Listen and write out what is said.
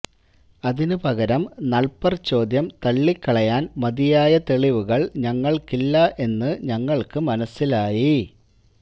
അതിനു പകരം നൾപർചോദ്യം തള്ളിക്കളയാൻ മതിയായ തെളിവുകൾ ഞങ്ങൾക്കില്ല എന്ന് ഞങ്ങൾക്ക് മനസ്സിലായി